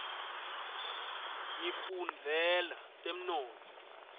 ngifundzela temnotfo